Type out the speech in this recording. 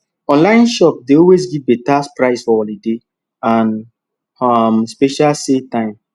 online shops dey always give better price for holiday and um special sale time